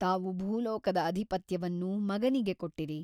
ತಾವು ಭೂಲೋಕದ ಅಧಿಪತ್ಯವನ್ನು ಮಗನಿಗೆ ಕೊಟ್ಟಿರಿ.